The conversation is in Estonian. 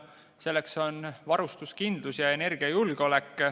Need on varustuskindlus ja energiajulgeolek.